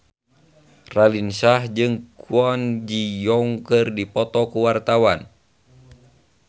Raline Shah jeung Kwon Ji Yong keur dipoto ku wartawan